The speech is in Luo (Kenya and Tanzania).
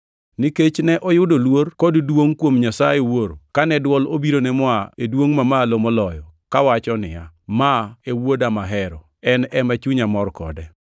Nikech ne oyudo luor kod duongʼ kuom Nyasaye Wuoro kane dwol obirone moa e Duongʼ Mamalo Moloyo, kawacho niya, “Ma e Wuoda mahero, en ema chunya mor kode!” + 1:17 \+xt Mat 17:5; Mar 9:7; Luk 9:35\+xt*